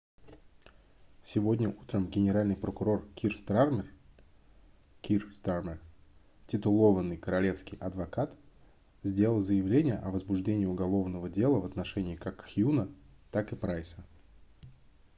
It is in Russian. сегодня утром генеральный прокурор кир стармер kier starmer титулованный королевский адвокат сделал заявление о возбуждении уголовного дела в отношении как хьюна так и прайса